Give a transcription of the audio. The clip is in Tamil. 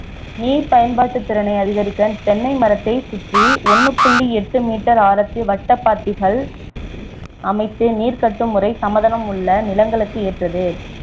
நீர் பயன்பாட்டுத்திறனை அதிகரிக்க தென்னை மரத்தை சுற்றி ஒண்ணு புள்ளி எட்டு meter ஆரத்தில வட்டபாத்திகள் அமைத்து நீர் கட்டும் முறை சமதளம் உள்ள நிலங்களுக்கு ஏற்றது